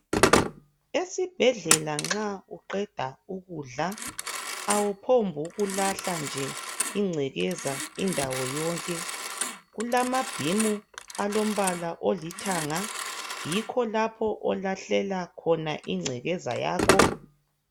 Esibhedlela nxa uqeda ukudla awuphombi ukulahla nje ingcekeza indawo yonke kulamabhimu alombala olithanga yikho lapho okulahlelwa khona ingcekeza yakho